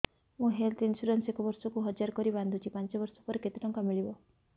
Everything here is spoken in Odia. ମୁ ହେଲ୍ଥ ଇନ୍ସୁରାନ୍ସ ଏକ ବର୍ଷକୁ ହଜାର କରି ବାନ୍ଧୁଛି ପାଞ୍ଚ ବର୍ଷ ପରେ କେତେ ଟଙ୍କା ମିଳିବ